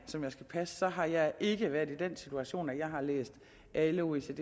som jeg skal passe har jeg ikke været i den situation at jeg har læst alle oecds